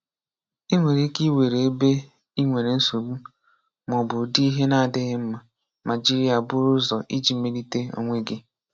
Ị nwere ike iwere ebe ị nwere nsogbu ma ọ bụ ụdị ihe na-adịghị mma, ma jiri ya buru ụzọ iji Melite onwe gị.